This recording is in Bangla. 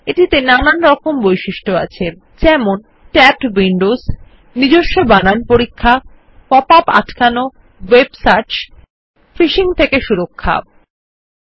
এটিতে নানান রকম বৈশিষ্ট্য রয়েছে যেমন tabbed windowsbuilt in spell checkingpop up blocker integrated web search phishing protection ইত্যাদি